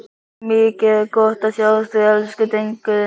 Mikið er gott að sjá þig, elsku drengurinn minn!